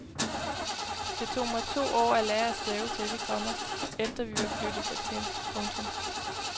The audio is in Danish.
Det tog mig to år at lære at stave til det, komma efter vi var flyttet dertil. punktum